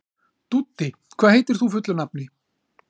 Dúddi, hvað heitir þú fullu nafni?